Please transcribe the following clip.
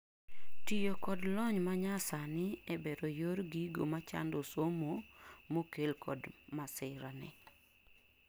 tiyo kod lonynmanyasani e bero yor gigo machando somomokel kod masira ni